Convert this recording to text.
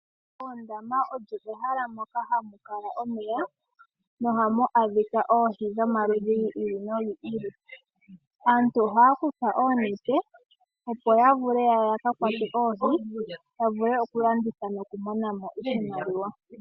Oondama olyo ehala moka hamu kala omeya nohamu adhika oohi dhomaludhi gi ili nogi ili. Aantu ohaya kutha oonete opo ya vule ya ka kwate oohi, ya vule okulanditha nokumona mo iimaliwa.